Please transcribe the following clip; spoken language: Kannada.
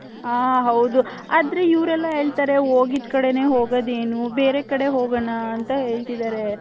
ಹ ಹೌದು ಆದ್ರೆ ಇವರೆಲ್ಲ ಹೇಳ್ತಾರೆ ಹೊಗಿದ್ ಕಡೆನೇ ಹೋಗದ್ ಏನು ಬೇರೆ ಕಡೆ ಹೋಗಣ ಅಂತ ಹೇಳ್ತಿದಾರೆ .